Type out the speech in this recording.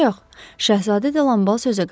Ancaq şəhzadə Delanbal sözə qarışdı.